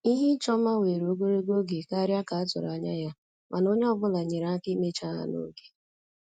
Ihe ịchọ mma were ogologo oge karịa ka a tụrụ anya ya, mana onye ọ bụla nyere aka imecha ha n'oge